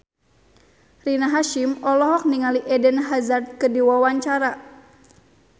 Rina Hasyim olohok ningali Eden Hazard keur diwawancara